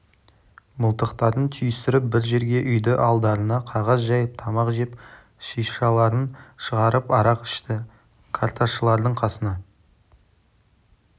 мылтықтарын түйістіріп бір жерге үйді алдарына қағаз жайып тамақ жеп шишаларын шығарып арақ ішті карташылардың қасына